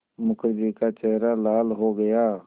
मुखर्जी का चेहरा लाल हो गया